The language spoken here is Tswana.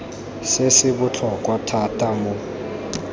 se se botlhokwa thata mo